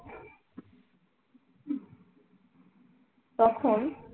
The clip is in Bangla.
তখন